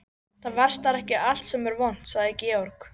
Það versnar ekki allt sem er vont, sagði Georg.